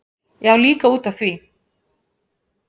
Já, líka út af því.